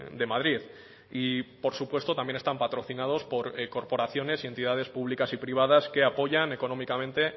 de madrid y por supuesto también están patrocinados por corporaciones y entidades públicas y privadas que apoyan económicamente